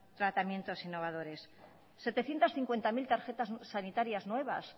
tratamientos innovadores setecientos cincuenta mil tarjetas sanitarias nuevas